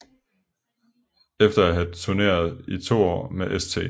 Efter at have turneret i to år med St